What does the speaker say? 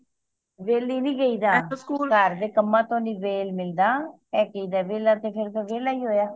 ਵੇਹਲੀ ਨਹੀਂ ਕਹਿੰਦਾ ਘਰ ਦੇ ਕੰਮਾਂ ਤੋਂ ਨਹੀਂ ਵੇਹਲ ਮਿਲਦਾ ਇਹ ਕਹਿੰਦਾ ਵੇਹਲਾ ਤੇ ਫੇਰ ਵੇਹਲਾ ਹੀ ਹੋਇਆ